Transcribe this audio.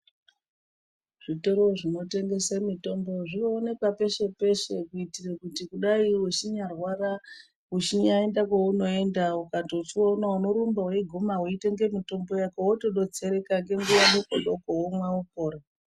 Zvitoro zvinotengese mitombo zvoonekwa peshe-peshe kuitire kuti kudai wechinyarwara uchinyaenda kwaunoenda ukandochiona unorumba weiguma weitenge mitombo yako wotodetsereka ngenguwa dokodoko womwa wopora.